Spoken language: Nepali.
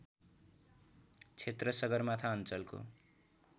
क्षेत्र सगरमाथा अञ्चलको